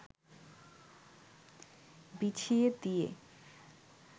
বিছিয়ে দিয়ে